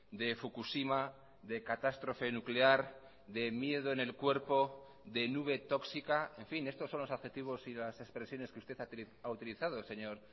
de fukushima de catástrofe nuclear de miedo en el cuerpo de nube tóxica en fin estos son los adjetivos y las expresiones que usted ha utilizado señor